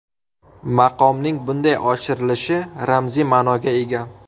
Maqomning bunday oshirilishi ramziy ma’noga ega.